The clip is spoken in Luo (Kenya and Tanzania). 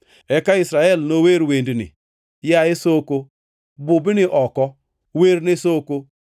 Eka Israel nower wendni: “Yaye soko, bubni oko! Werne soko,